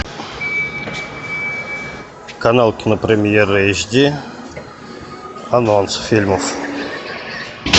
канал кинопремьера эйч ди анонс фильмов